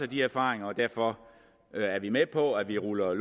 de erfaringer og derfor er vi med på at vi ruller